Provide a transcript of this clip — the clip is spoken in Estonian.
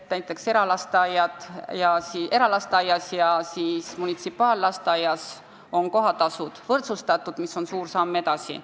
Näiteks eralasteaias ja munitsipaallasteaias on kohatasud võrdsustatud, mis on suur samm edasi.